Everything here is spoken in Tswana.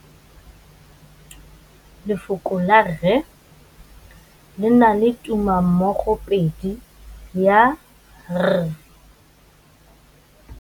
Lefoko la rre, le na le tumammogôpedi ya, r.